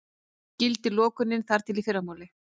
Gildir lokunin þar til í fyrramálið